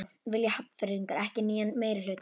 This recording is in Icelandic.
Vilja Hafnfirðingar ekki nýjan meirihluta?